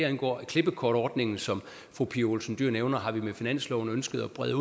angår klippekortordningen som fru pia olsen dyhr nævner har vi med finansloven ønsket at brede